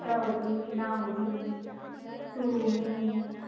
निता होती, मीना होती, तु, मी